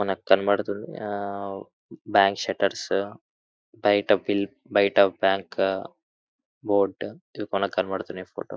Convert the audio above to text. మనకి కనపడుతుంది ఆ ఆ బ్యాంకు సెట్టర్స్ బయట బిల్ బయట బ్యాంకు బోర్డు ఇవి మనకు కనపడుతున్నాయి ఫోటో --